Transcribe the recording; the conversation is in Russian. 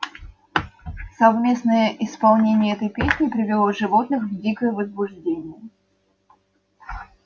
совместное исполнение этой песни привело животных в дикое возбуждение